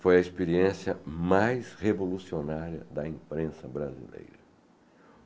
Foi a experiência mais revolucionária da imprensa brasileira.